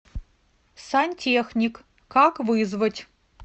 сантехник как вызвать